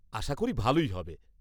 আশা করি ভালই হবে।